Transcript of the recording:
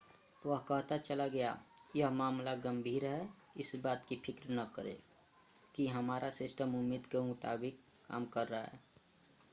वह कहता चला गया यह मामला गंभीर है इस बात की फ़िक्र न करें कि हमारा सिस्टम उम्मीद के मुताबिक काम कर रहा है